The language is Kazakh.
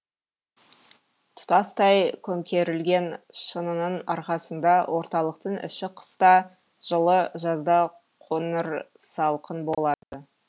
тұтастай көмкерілген шынының арқасында орталықтың іші қыста жылы жазда қоңырсалқын болады